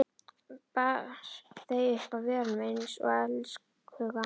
Bar þau upp að vörunum einsog elskhuga.